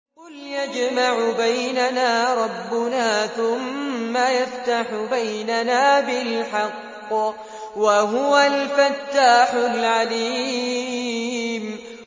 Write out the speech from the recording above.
قُلْ يَجْمَعُ بَيْنَنَا رَبُّنَا ثُمَّ يَفْتَحُ بَيْنَنَا بِالْحَقِّ وَهُوَ الْفَتَّاحُ الْعَلِيمُ